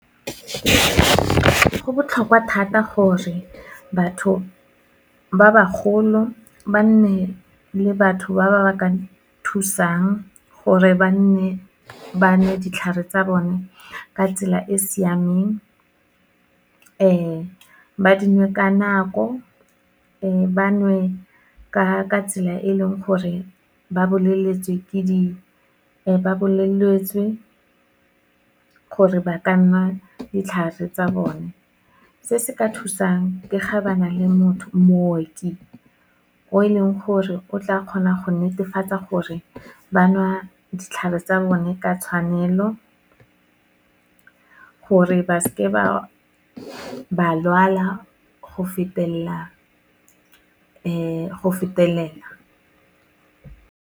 Go botlhokwa thata gore, batho ba bagolo ba nne le batho ba ba ka thusang, gore ba nne ba nwe ditlhare tsa bone ka tsela e siameng, ba dinwe ka nako, ba nwe ka tsela e leng gore ba boleletswe gore ba ka nwa ditlhare tsa bone. Se se ka thusang, ke ga ba na le mooki o e leng gore o tla kgona go netefatsa gore ba nwa ditlhare tsa bone ka tshwanelo, gore ba seke ba lwala, go fetelela.